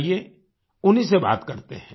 आइये उन्हीं से बात करते हैं